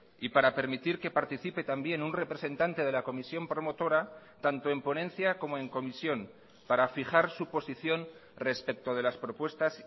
y para permitir que participe también un representante de la comisión promotora tanto en ponencia como en comisión para fijar su posición respecto de las propuestas